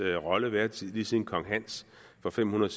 rolle været lige siden kong hans for fem hundrede